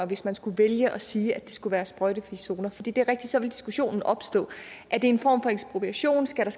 hvis man skulle vælge at sige at det skulle være sprøjtefri zoner for det det er rigtigt at så ville diskussionen opstå er det en form for ekspropriation skal der